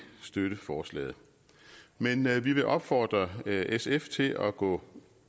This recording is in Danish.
støtte forslaget men men vi vil opfordre sf til at gå